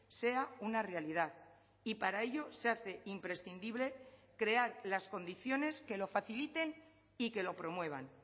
sea una realidad y para ello se hace imprescindible crear las condiciones que lo faciliten y que lo promuevan